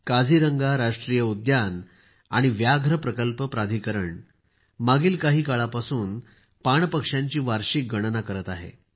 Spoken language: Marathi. काझीरंगा राष्ट्रीय उद्यान आणि व्याघ्र प्रकल्प प्राधिकरण मागील काही काळापासून पाण पक्ष्यांची वार्षिक गणना करत आहे